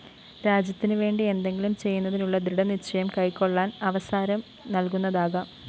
രാജ്യത്തിന് വേണ്ടി എന്തെങ്കിലും ചെയ്യുന്നതിനുളള ദൃഡനിശ്ചയം കൈക്കൊളളാന്‍ അവസരം നല്‍കുന്നതാകാം